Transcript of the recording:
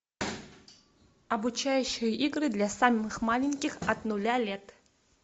обучающие игры для самых маленьких от нуля лет